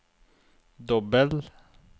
dobbel